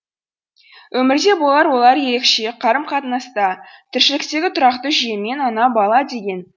өмірде болар олар ерекше қарым қатынаста тіршіліктегі тұрақты жүйемен ана бала деген